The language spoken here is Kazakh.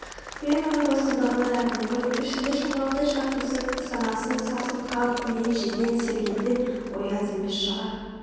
мен оны бостандығынан айырдым ғой Ішінде шырмауықтай шарпысып санасын сарсылтқан миын жеген сергелдең ой аз емес шығар